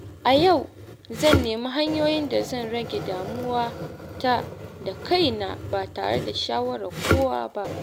A yau zan nemi hanyoyin da zan rage damuwata da kaina ba tare da shawarar kowa ba.